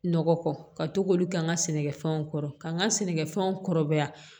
Nɔgɔ kɔ ka to k'olu kɛ n ka sɛnɛkɛfɛnw kɔrɔ ka n ka sɛnɛkɛfɛnw kɔrɔbaya